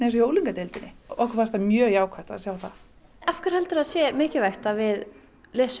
í unglingadeildinni okkur fannst það mjög jákvætt að sjá það af hverju heldurðu að það sé mikilvægt að við lesum